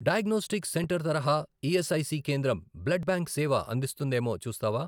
Diagnostic centre తరహా ESIC కేంద్రం blood bank సేవ అందిస్తుందేమో చూస్తావా?